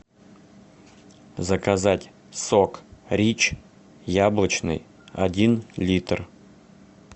заказать сок рич яблочный один литр